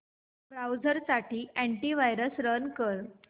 browser साठी antivirus run कर